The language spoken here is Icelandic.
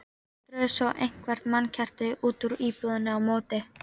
Drógu svo eitthvert mannkerti út úr íbúðinni á móti.